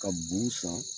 Ka b'u san